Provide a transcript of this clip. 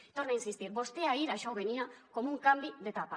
hi torne a insistir vostè ahir això ho venia com un canvi d’etapa